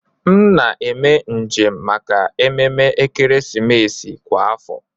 M na eme njem maka ememe ekeresimesi kwa afọ